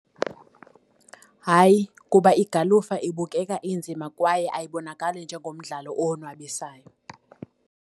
Hayi, kuba igalufa ibukeka inzima kwaye ayibonakale njengomdlalo owonwabisayo.